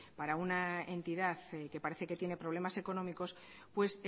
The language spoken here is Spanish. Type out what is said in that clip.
para una entidad que parece que tiene problemas económicos pues